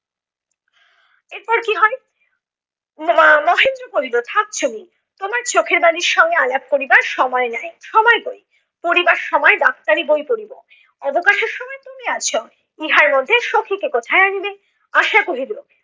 এরপ কী হয় মা~ মহেন্দ্র বলিল থাক তোমার চোখের বালির সঙ্গে আলাপ করিবার সময় নাই, সময় কই? পড়িবার সময় ডাক্তারি বই পড়িব। অবকাশের সময় তুমি আছ। ইহার মধ্যে সখিকে কোথায় আনিবে? আশা কহিল,